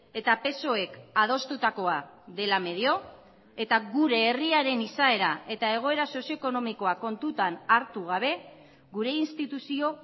eta psoek adostutakoa dela medio eta gure herriaren izaera eta egoera sozio ekonomikoa kontutan hartu gabe gure instituzio